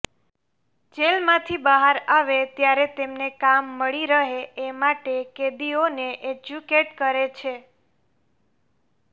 જેલમાંથી બહાર આવે ત્યારે તેમને કામ મળી રહે એ માટે કેદીઓને એજ્યુકેટ કરે છે